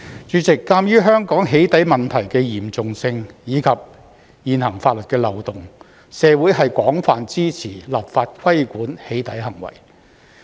主席，鑒於香港"起底"問題的嚴重性，以及現行法律的漏洞，社會是廣泛支持立法規管"起底"行為。